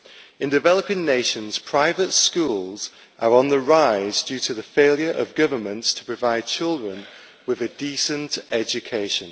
In developing nations, private schools are on the rise due to the failure of governments to provide children with a decent education.